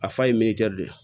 A fa ye de ye